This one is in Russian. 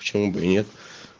почему бы и нет